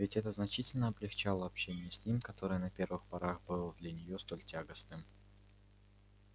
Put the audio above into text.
ведь это значительно облегчало общение с ним которое на первых порах было для неё столь тягостным